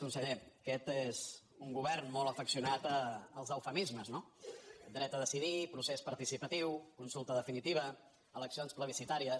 conseller aquest és un govern molt afeccio·nat als eufemismes no dret a decidir procés partici·patiu consulta definitiva eleccions plebiscitàries